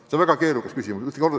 See on väga keerukas küsimus.